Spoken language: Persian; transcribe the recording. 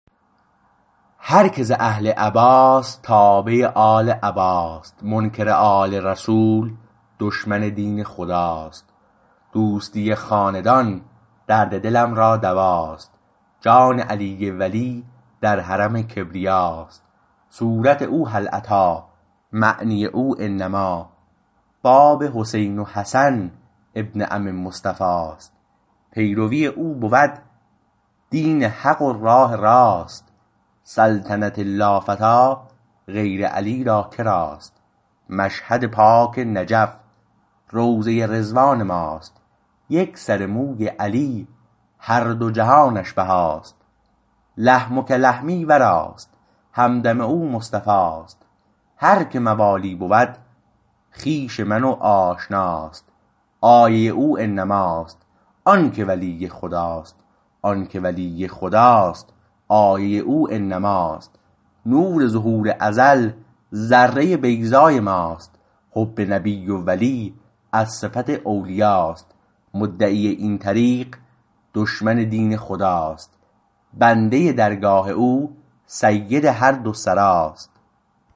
هر که ز اهل عباست تابع آل عباست منکر آل رسول دشمن دین خداست دوستی خاندان درد دلم را دواست جان علی ولی در حرم کبریاست صورت او هل اتی معنی او انما باب حسین و حسن ابن عم مصطفاست پیروی او بود دین حق و راه راست سلطنت لافتی غیر علی را کراست مشهد پاک نجف روضه رضوان ماست یک سر موی علی هر دو جهانش بهاست لحمک لحمی وراست همدم او مصطفاست هر که موالی بود خویش من و آشناست آیه او انماست آنکه ولی خداست آنکه ولی خداست آیه او انماست نور ظهور ازل ذره بیضای ماست حب نبی و ولی از صفت اولیاست مدعی این طریق دشمن دین خداست بنده درگاه او سید هر دو سراست